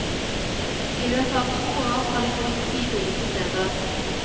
I løpet av to år har de bodd ti ulike steder.